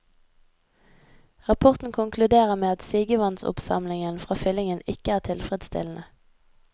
Rapporten konkluderer med at sigevannsoppsamlingen fra fyllingen ikke er tilfredsstillende.